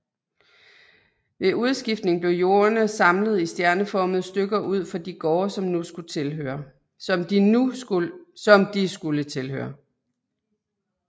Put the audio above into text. Ved udskiftningen blev jordene samlet i stjerneformede stykker ud for de gårde som de skulle tilhøre